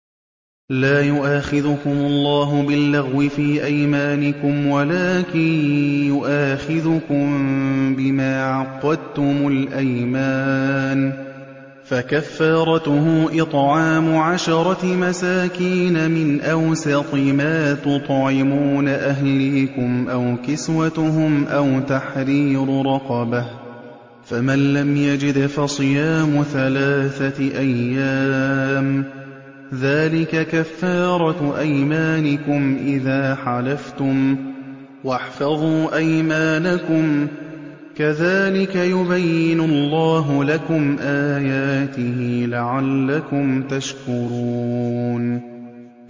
لَا يُؤَاخِذُكُمُ اللَّهُ بِاللَّغْوِ فِي أَيْمَانِكُمْ وَلَٰكِن يُؤَاخِذُكُم بِمَا عَقَّدتُّمُ الْأَيْمَانَ ۖ فَكَفَّارَتُهُ إِطْعَامُ عَشَرَةِ مَسَاكِينَ مِنْ أَوْسَطِ مَا تُطْعِمُونَ أَهْلِيكُمْ أَوْ كِسْوَتُهُمْ أَوْ تَحْرِيرُ رَقَبَةٍ ۖ فَمَن لَّمْ يَجِدْ فَصِيَامُ ثَلَاثَةِ أَيَّامٍ ۚ ذَٰلِكَ كَفَّارَةُ أَيْمَانِكُمْ إِذَا حَلَفْتُمْ ۚ وَاحْفَظُوا أَيْمَانَكُمْ ۚ كَذَٰلِكَ يُبَيِّنُ اللَّهُ لَكُمْ آيَاتِهِ لَعَلَّكُمْ تَشْكُرُونَ